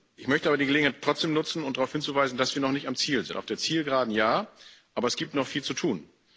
Ich möchte aber die Gelegenheit trotzdem nutzen, um darauf hinzuweisen, dass wir noch nicht am Ziel sind auf der Zielgeraden ja, aber es gibt noch viel zu tun.